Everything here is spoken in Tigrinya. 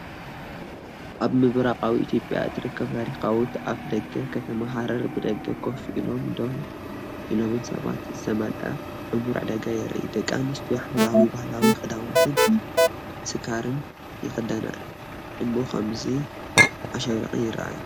ኣብ ምብራቓዊ ኢትዮጵያ እትርከብ ታሪኻዊት ኣፍደገ ከተማ ሃረር ብደገ ኮፍ ኢሎምን ደው ኢሎምን ሰባት ዝተመልአ ዕሙር ዕዳጋ የርኢ። ደቂ ኣንስትዮ ሕብራዊ ባህላዊ ክዳውንትን ስካርፍን ይኽደና እሞ ከምዚ ኣሸብሪቐን ይረኣያ።